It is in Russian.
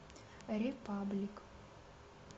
репаблик